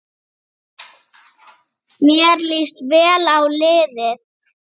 Sá munur hefur minnkað hratt.